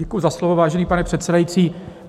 Děkuji za slovo, vážený pane předsedající.